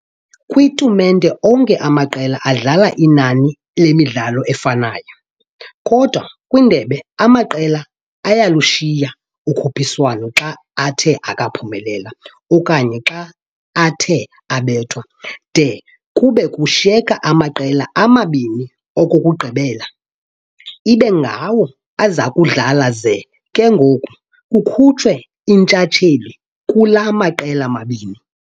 Kwi"tumente", onke amaqela adlala inani lemidlalo efanayo, kodwa "kwindebe", amaqela ayalushiya ukhuphiswano xa athe akaphumelela okanye xa athe abethwa, de kube kushiyeka amaqela amabini okugqibela ibe ngawo azakudlala, ze ke ngoku kukhutshwe intshatheli kula maqela mabini.